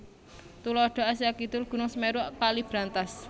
Tuladha Asia Kidul Gunung Semeru Kali Brantas